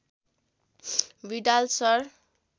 Widal sir